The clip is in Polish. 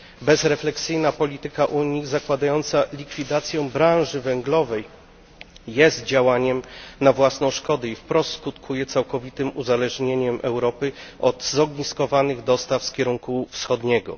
Bezrefleksyjna polityka Unii zakładająca likwidację branży węglowej jest działaniem na własną szkodę i wprost skutkuje całkowitym uzależnieniem Europy od zogniskowanych dostaw z kierunku wschodniego.